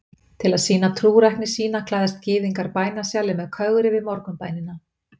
til að sýna trúrækni sína klæðist gyðingur bænasjali með kögri við morgunbænina